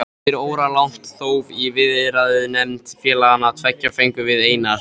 Eftir óralangt þóf í viðræðunefnd félaganna tveggja fengum við Einar